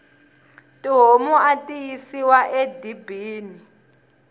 tihomu ati yisiwa e dibini